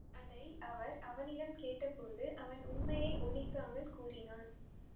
அதை அவர் அவனிடம் கேட்டபோது அவன் உண்மையை ஒளிக்காமல் கூறினான்